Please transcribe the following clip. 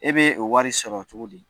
E be o wari sɔrɔ cogo di ?